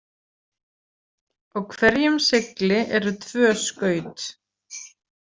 Á hverjum segli eru tvö skaut.